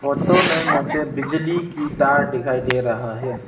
Photo में मुझे बिजली की तार दिखाई दे रहा है।